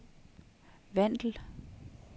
Vandel